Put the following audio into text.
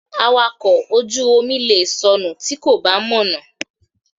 Awakọ̀ ojú omi lè sọnù tí kò bá mọ̀nà.